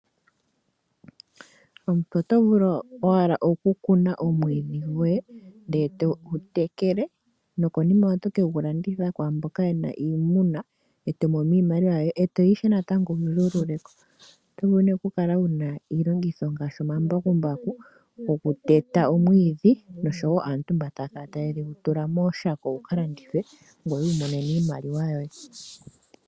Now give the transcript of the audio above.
Omuntu otovulu owala oku kuna omwiidhi goye ndele togu tekela nokonima oto kegu landitha kwaamboka yena iimuna etomono iimaliwa yoye, etoya ishewe wu zuululeko. Otovulu nee okukala wuna iilongitho ngaashi omambakumbaku goku teta omwiidhi nosho aatu mboka taya kala ta yedhi tula mooshako dhika landithwe ngoye wi imonene iimaliwa yoye.